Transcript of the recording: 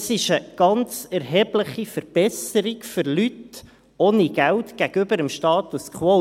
Das ist für Leute ohne Geld eine ganz erhebliche Verbesserung gegenüber dem Status quo.